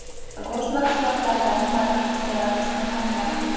Go‘sht mahsulotlaridan baliqni sevib iste’mol qilaman.